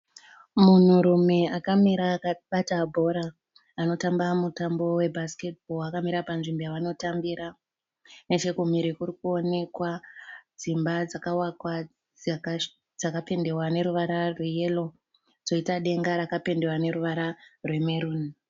Munhu rume akamira akabata bhora ,anotamba mutambo webhasiketi akamira panzvimbo yaanotambira, nechekumhiri kurikuoneka dzimba dzakapendwa neruvara rweyero nedenga rakapendwa neruvara rwe meruni.